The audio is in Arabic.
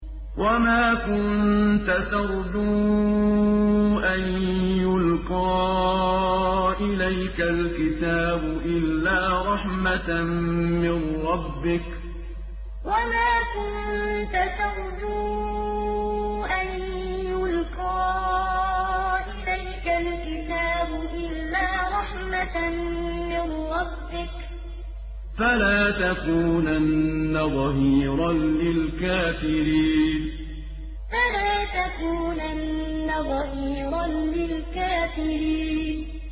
وَمَا كُنتَ تَرْجُو أَن يُلْقَىٰ إِلَيْكَ الْكِتَابُ إِلَّا رَحْمَةً مِّن رَّبِّكَ ۖ فَلَا تَكُونَنَّ ظَهِيرًا لِّلْكَافِرِينَ وَمَا كُنتَ تَرْجُو أَن يُلْقَىٰ إِلَيْكَ الْكِتَابُ إِلَّا رَحْمَةً مِّن رَّبِّكَ ۖ فَلَا تَكُونَنَّ ظَهِيرًا لِّلْكَافِرِينَ